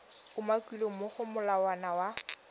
umakilweng mo go molawana wa